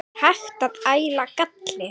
Er hægt að æla galli?